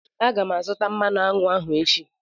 M ga-azụta mmanụ aṅụ ahụ echi.